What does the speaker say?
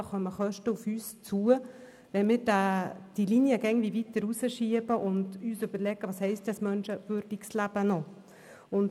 Denn es kommen Kosten auf uns zu, wenn wir die Linie immer weiter hinausschieben und uns die Frage stellen müssen, was es überhaupt noch heisst, ein menschenwürdiges Leben zu führen.